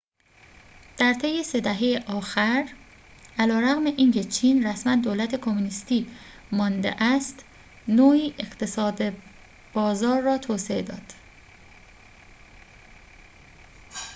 در طی سه دهه آخر علیرغم اینکه چین رسماً دولت کمونیستی مانده است نوعی اقتصاد بازار را توسعه داده است